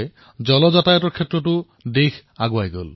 ইয়াৰ দ্বাৰা জলপথৰ ক্ষেত্ৰত এক নতুন ক্ৰান্তিৰ সৃষ্টি হল